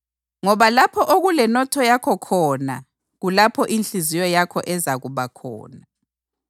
Ngoba lapho okulenotho yakho khona kulapho inhliziyo yakho ezakuba khona.